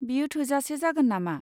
बेयो थोजासे जागोन नामा?